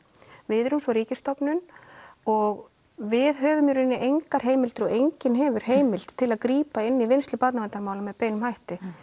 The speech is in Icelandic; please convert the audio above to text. við erum svo ríkisstofnun og við höfum í raun engar heimildir og enginn hefur heimild til að grípa inn í vinnslu barnaverndarmála með beinum hætti